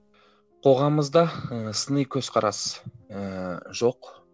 қоғамымызда ы сыни қөзқарас ыыы жоқ